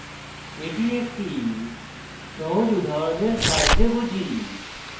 এটি একটি সহজ উদাহরণের সাহায্যে বুঝি